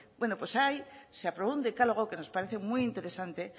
bueno pues ahí se aprobó un decálogo que nos parece muy interesante